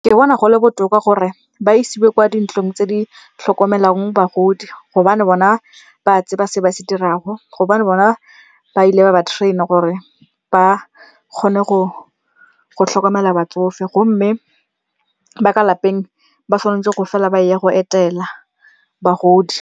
Ke bona go le botoka gore ba isiwe kwa dintlong tse di tlhokomelang bagodi gobane bona ba tseba se ba se dirang, gobane bona ba ile ba ba train-a gore ba kgone go tlhokomela batsofe. Gomme ba ka lapeng ba tshwanetse go fela ba eya go etela bagodi.